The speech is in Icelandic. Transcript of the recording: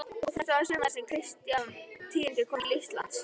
Og þetta var sumarið sem Kristján tíundi kom til Íslands.